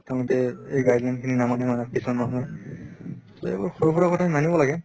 তেওঁলোকে এই guideline খিনি নামানে মানে কিছুমান মানুহে। এইবোৰ সৰু সুৰা কথা মানিব লাগে